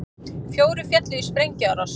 Fjórir féllu í sprengjuárás